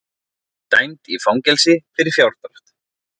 Dæmd í fangelsi fyrir fjárdrátt